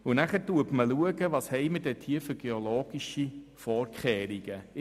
Dann wird abgeklärt, welche geologischen Vorkehrungen zu treffen sind.